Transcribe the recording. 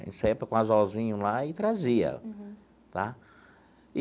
A gente saía com um anzolzinho lá e trazia, tá?